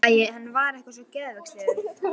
Æ, hann var eitthvað svo geðveikislegur.